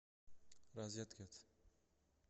розеткед